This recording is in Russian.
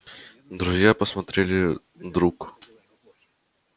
друзья посмотрели друг